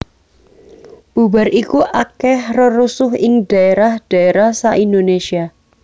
Bubar iku akèh rerusuh ing dhaérah dhaérah sa Indonésia